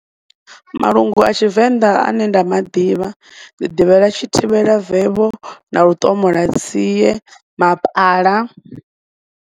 Malungu a tshivenḓa ane nda maḓivha ndi ḓivhela tshithivhelavevho na luṱomolatsie, mapala.